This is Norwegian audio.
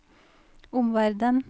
omverden